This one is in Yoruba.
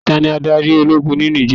Tani adarí Ológun ni Nìjéè?